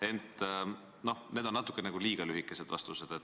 Aga täna on olnud natuke liiga lühikesed vastused.